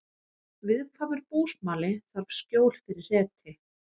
Viðkvæmur búsmali þarf skjól fyrir hreti